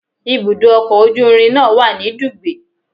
Ibùdó ọkọ̀ ojú irin náà wà ní Dugbe